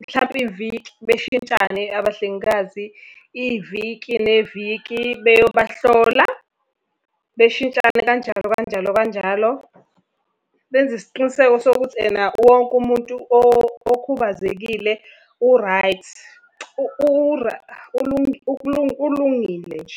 Mhlampe iviki beshintshane abahlengikazi, iviki neviki beyobahlola. Beshintshane kanjalo kanjalo kanjalo. Benze isiqiniseko sokuthi ena wonke umuntu okhubazekile u-right, ulungile nje.